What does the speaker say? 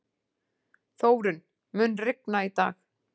Þórunn, mun rigna í dag?